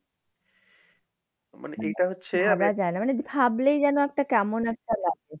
ভাবা যায় না মানে ভাবলেই যেন একটা কেমন একটা লাগে।